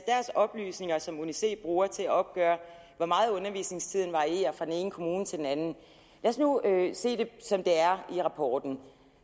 oplysninger som uni c bruger til at opgøre hvor meget undervisningstiden varierer fra den ene kommune til den anden lad os nu se det som det er i rapporten